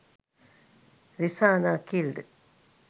risana killed